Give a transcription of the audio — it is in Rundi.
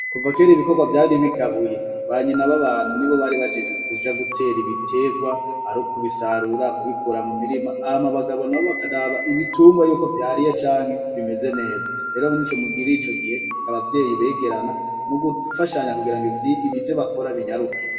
Kuva kera ibikorwa vyari bigabuye banyina b'abantu nibo bari bajejwe kuja gutera ibiterwa ar'ukubisarura kubikura mu mirima, hama bagabo nabo bakaraba ibitungwa yuko vyariye canke bimeze neza, rero muri ico gihe abavyeyi begerana mu gufashanya kugira ngo ivyo bakora binyaruke.